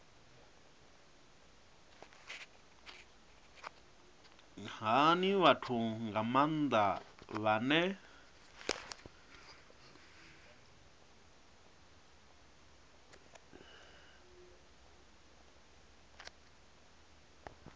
hani vhathu nga maanda vhane